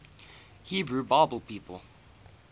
hebrew bible people